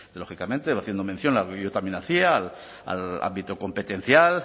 lógicamente haciendo mención a lo que yo también hacía al ámbito competencial